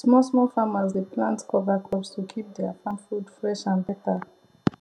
small small farmers dey plant cover crops to keep their farm food fresh and better